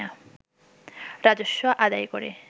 রাজস্ব আদায় করে